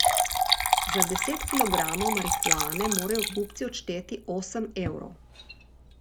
Za deset kilogramov marihuane morajo kupci odšteti osem evrov.